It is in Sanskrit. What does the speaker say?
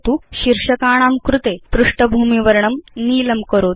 शीर्षकाणां कृते पृष्ठभूमिवर्णं नीलं करोतु